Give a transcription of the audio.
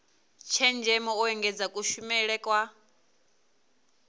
tshenzhemo u engedza kushumele kwa